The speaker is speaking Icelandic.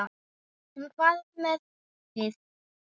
En hvað með poppið?